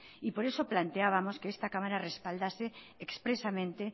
y por eso planteábamos que esta cámara respaldase expresamente